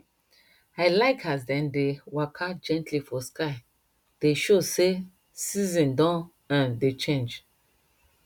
i like as dem dey waka gently for sky dey show sey season don um dey change